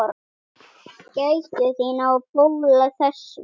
Gættu þín á fóla þessum.